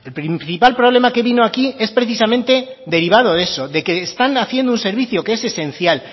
principal problema que vino aquí es precisamente derivado de eso de que están haciendo un servicio que es esencial